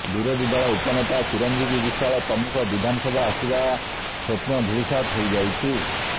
ବିରୋଧୀ ଦଳ ଉପନେତା ଚିରଞ୍ଜୀବୀ ବିଶ୍ବାଳ ପ୍ରମୁଖ ବିଧାନସଭା ଆସିବା ସ୍ବପ୍ନ ଧୂଳିସାତ୍ ହୋଇଯାଇଛି